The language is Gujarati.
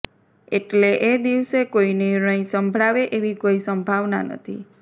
એટલે એ દિવસે કોઇ નિર્ણય સંભળાવે એવી કોઇ સંભાવના નથી